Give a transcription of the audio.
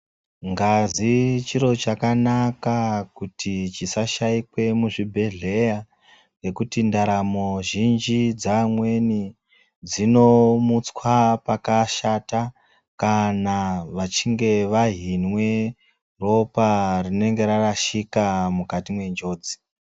Ngazi chiro chakanaka kuti chisashaikwe muzvibhedhleya ngekuti ndaramo dzeamweni dzinomutswa pakashata kana vachinge vahinwe ropa rinenge rarashika mukati mwenjodzi.